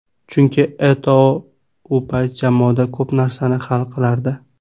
Chunki Eto‘O u payt jamoada ko‘p narsani hal qilardi.